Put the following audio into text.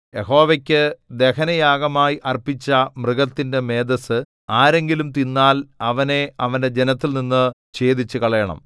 യഹോവയ്ക്കു ദഹനയാഗമായി അർപ്പിച്ച മൃഗത്തിന്റെ മേദസ്സു ആരെങ്കിലും തിന്നാൽ അവനെ അവന്റെ ജനത്തിൽനിന്നു ഛേദിച്ചുകളയണം